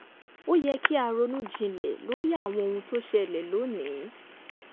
ó yẹ kí a ronú jinlẹ̀ lórí àwọn ohun tó ṣẹlẹ̀ lónìí